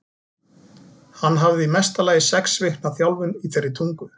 Hann hafði í mesta lagi sex vikna þjálfun í þeirri tungu.